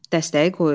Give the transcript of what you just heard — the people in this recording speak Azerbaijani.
Dəstəyi qoyur.